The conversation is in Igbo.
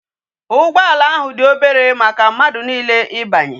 Ugboala ahu di obere maka mmadu niile ibanye